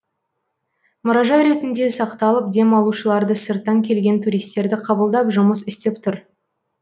мұражай ретінде сақталып демалушыларды сырттан келген туристерді қабылдап жұмыс істеп тұр